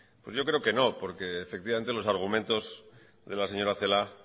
pues yo creo que no porque efectivamente los argumentos de la señora celaá